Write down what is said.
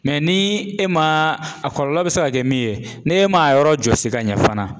ni e ma a kɔlɔlɔ bɛ se ka kɛ min ye n'e ma yɔrɔ jɔsi ka ɲɛ fana